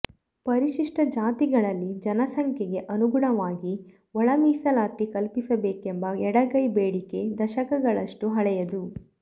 ಪರಿಶಿಷ್ಟ ಜಾತಿಗಳಲ್ಲಿ ಜನಸಂಖ್ಯೆಗೆ ಅನುಗುಣವಾಗಿ ಒಳ ಮೀಸಲಾತಿ ಕಲ್ಪಿಸಬೇಕೆಂಬ ಎಡಗೈ ಬೇಡಿಕೆ ದಶಕಗಳಷ್ಟು ಹಳೆಯದು